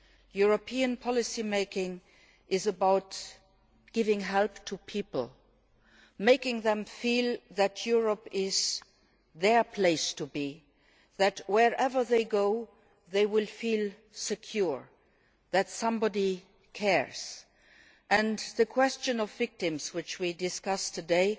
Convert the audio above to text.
European policy making is about giving help to people, making them feel that Europe is their place to be, that wherever they go they will feel secure, that somebody cares, and the question of victims which we discussed today